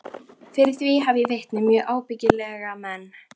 Fyrir því hef ég vitni, mjög ábyggilega menn.